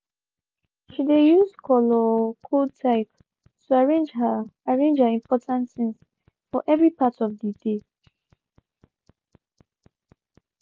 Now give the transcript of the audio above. she de use color-code type to arrange her arrange her important things for every part of de dey.